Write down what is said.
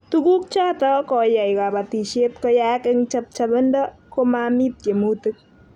Tuguk choto koyai kabatishet koyaak eng' chap chapindo komami tiemutik